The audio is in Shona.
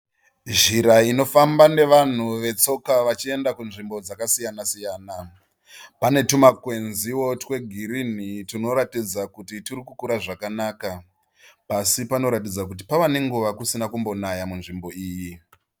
Zhira inofamba nevanhu vetsoka vachienda kunzvimbo dzakasiyana siyana. Pane tumakwenziwo twegirinhi twunoratidza kuti twurikukura zvakanaka. Pasi panoratidza kuti pave nenguva kusina kumbonaya munzvimbo iyi.